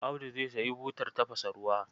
Audu za sayi butar tafasa ruwa.